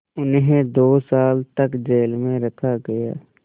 उन्हें दो साल तक जेल में रखा गया